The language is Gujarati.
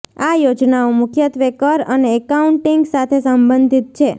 આ યોજનાઓ મુખ્યત્વે કર અને એકાઉન્ટિંગ સાથે સંબંધિત છે